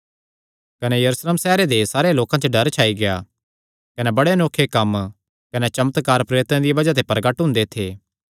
कने यरूशलेम सैहरे दे सारेयां लोकां च डर छाई गेआ कने बड़े अनोखे कम्म कने चमत्कार प्रेरितां दिया बज़ाह ते प्रगट हुंदे थे